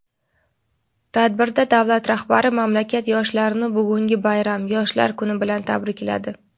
Tadbirda davlat rahbari mamlakat yoshlarini bugungi bayram – Yoshlar kuni bilan tabrikladi.